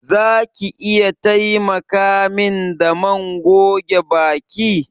Za ki iya taimaka min da man goge baki?